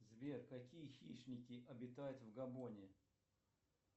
сбер какие хищники обитают в габоне